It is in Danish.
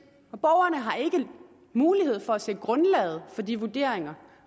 mulighed for at se grundlaget for de vurderinger